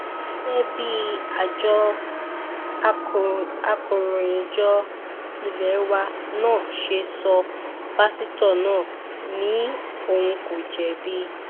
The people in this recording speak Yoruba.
gẹ́gẹ́ bí àjọ akòròyìnjọ ilé wa nan ṣe sọ pásítọ̀ náà ni òun kò jẹ̀bi